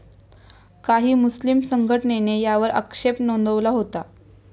काही मुस्लीम संघटनेने यावर आक्षेप नोंदवला होता.